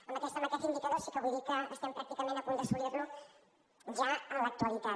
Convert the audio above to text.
amb aquest indicador sí que vull dir que estem pràcticament a punt d’assolir lo ja en l’actualitat